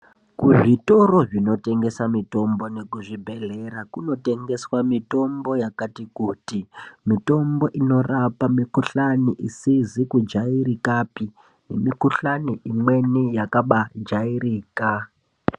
Kuzvitoro zvinotengesa mitombo nekuzvibhohlera kunotengeswa mitombo yakati kuti. Mitombo inorapa mikuhlani isizi kujairikapi nemikuhlani imweni yakabaajairika.